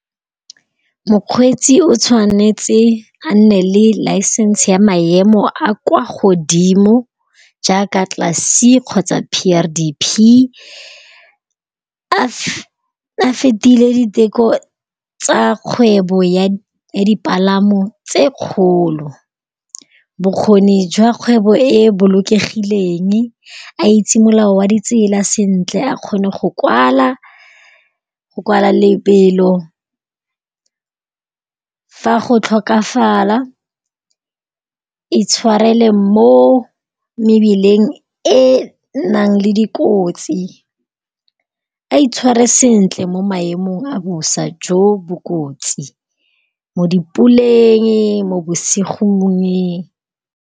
Mokgweetsi o tshwanetse a nne le license ya maemo a kwa godimo jaaka class c kgotsa PRDP. A fetile diteko tsa kgwebo ya dipalamo tse kgolo. Bokgoni jwa kgwebo e bolokegileng, a itse molao wa ditsela sentle, a kgone go kwala lebelo. Fa go tlhokafala itshwarele mo mebileng e nnang le dikotsi. A itshware sentle mo maemong a bosa jo bo kotsi mo di puleng mo bosigong.